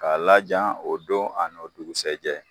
K'a laja o don a nɔ dugusajɛ